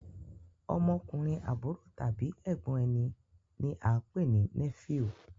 Ọmọkùnrin àbúrò tàbí ègbón ẹní ní a pé ní nephew